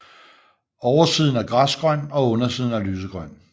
Oversiden er græsgrøn og undersiden er lysegrøn